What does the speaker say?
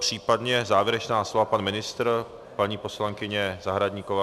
Případně závěrečná slova - pan ministr, paní poslankyně Zahradníková?